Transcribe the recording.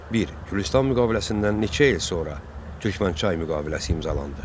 Bir: Gülüstan müqaviləsindən neçə il sonra Türkmənçay müqaviləsi imzalandı?